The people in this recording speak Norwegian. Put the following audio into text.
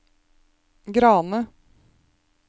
Grane